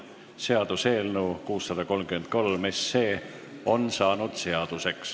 Seaduseelnõu 633 on saanud seaduseks.